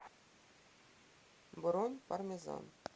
бронь пармезан